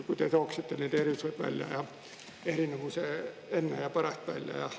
Kui te tooksite need erisused välja, erinevuse enne ja pärast välja.